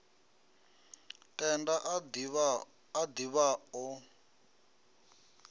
tenda a div ha o